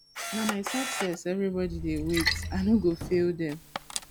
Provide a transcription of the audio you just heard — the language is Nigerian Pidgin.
na my success everybodi dey wait i no go fail dem